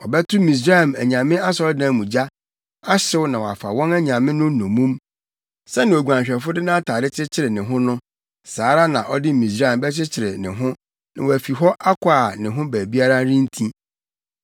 Ɔbɛto Misraim anyame asɔredan mu gya, ahyew na wɔafa wɔn anyame no nnommum. Sɛnea oguanhwɛfo de nʼatade kyekyere ne ho no, saa ara na ɔde Misraim bɛkyekyere ne ho na wafi hɔ akɔ a ne ho baabiara renti.